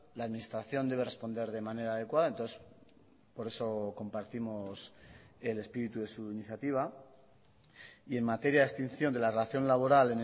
la administración debe responder de manera adecuada entonces por eso compartimos el espíritu de su iniciativa y en materia de extinción de la relación laboral